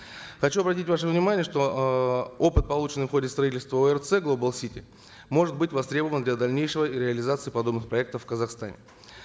хочу обратить ваше внимание что эээ опыт полученный в ходе строительства орц глобал сити может быть востребован для дальнейшей реализации подобных проектов в казахстане